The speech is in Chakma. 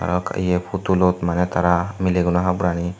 yak yeh putulot mane tara milegino haborani.